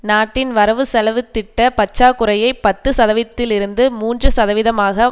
நாட்டின் வரவுச் செலவுத்திட்ட பற்றாக்குறையை பத்து சதவீதத்திலிருந்து மூன்று சதவீதமாக